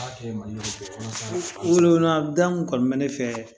da mun kɔni bɛ ne fɛ